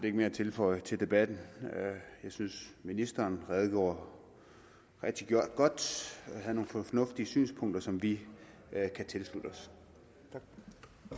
ikke mere at tilføje til debatten jeg synes at ministeren redegjorde rigtig godt og havde nogle fornuftige synspunkter som vi kan tilslutte os